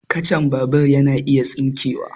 Kacan babur yana iya tsinkewa